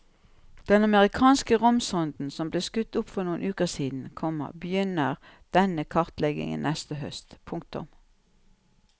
Den amerikanske romsonden som ble skutt opp for noen uker siden, komma begynner denne kartleggingen neste høst. punktum